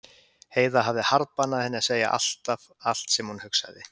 Heiða hafði harðbannað henni að segja alltaf allt sem hún hugsaði.